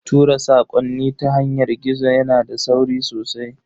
Tura sakonni ta yanar gizo yana da sauri sosai.